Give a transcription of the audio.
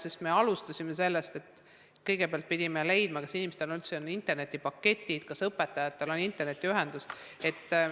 Sest me alustasime sellest, et kõigepealt pidime teada saama, kas inimestel üldse on internetipaketid, kas õpetajatel on internetiühendus.